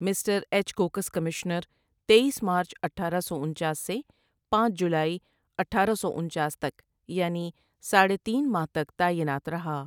Mister H Cox commissioner تییس ماچ اٹھارہ سو انچاس ؁سے پاجولائی اٹھارہ سو انچاس ؁تک یعنی ساڑھے تین ماہ تک تعینات رہا ۔